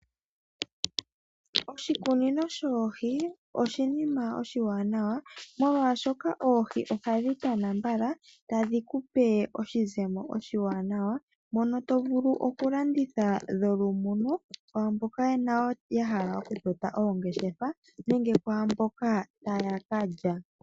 Oshikunino shoohi oshinima oshiwanawa, molwaashoka oohi ohadhi tana mbala, tadhi kupe oshizemo oshiwanawa, mono tovulu okulanditha dholumuno kwaamboka yahala okutota oongeshefa nenge mboka taya kalya.